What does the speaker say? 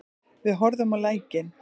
Við horfðum á lækninn.